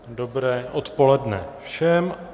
Dobré odpoledne všem.